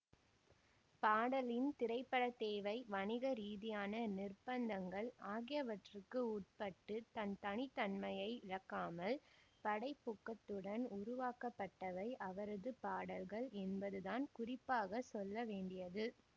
பாடலின் திரைப்பட தேவை வணிக ரீதியான நிர்ப்பந்தங்கள் ஆகியவற்றுக்கு உட்பட்டுத் தன் தனித்தன்மையை இழக்காமல் படைப்பூக்கத்துடன் உருவாக்கப்பட்டவை அவரது பாடல்கள் என்பதுதான் குறிப்பாக சொல்லவேண்டியது